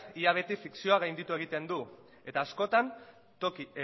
ia beti fikzioa gainditu egiten du eta askotan